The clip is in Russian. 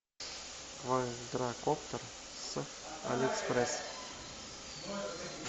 квадракоптер с алиэкспресс